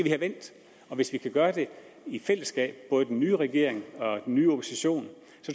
have vendt og hvis vi kan gøre det i fællesskab den nye regering og den nye opposition